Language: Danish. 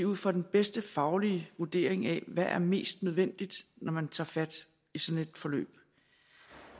ud fra den bedste faglige vurdering af hvad der er mest nødvendigt når man tager fat i sådan et forløb